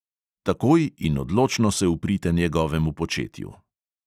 Takoj in odločno se uprite njegovemu početju.